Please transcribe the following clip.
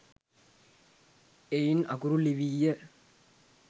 එයින් අකුරු ලිවීය.